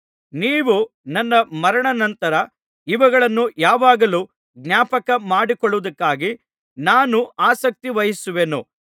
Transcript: ನೀವು ನನ್ನ ಮರಣಾನಂತರ ಇವುಗಳನ್ನು ಯಾವಾಗಲೂ ಜ್ಞಾಪಕ ಮಾಡಿಕೊಳ್ಳುವುದಕ್ಕಾಗಿ ನಾನು ಆಸಕ್ತಿವಹಿಸುವೆನು